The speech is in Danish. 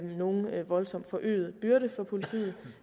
nogen voldsomt forøget byrde for politiet